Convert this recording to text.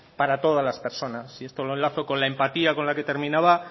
para todas las personas y esto lo enlazo con la empatía con la que terminaba